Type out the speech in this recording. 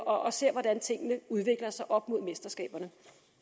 og ser hvordan tingene udvikler sig op mod mesterskaberne